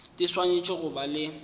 di swanetše go ba le